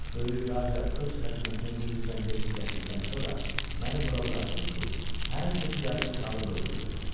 Böyük Raca öz xəzinəsini bu zirzəmidə gizlətdikdən sonra məni bura buraxdı ki, hər kim gəlsə çalıb öldürüm.